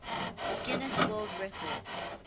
guinness world records